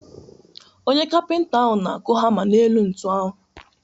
Onye kapịnta ahụ na-akụ hama n’elu ntu ahụ.